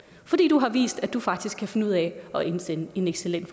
fordi du har vist at du faktisk kan finde ud af at indsende en excellent